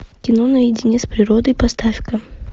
кино наедине с природой поставь ка